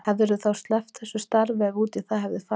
Hefðirðu þá sleppt þessu starfi ef út í það hefði farið?